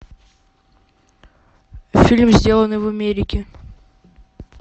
фильм сделанный в америке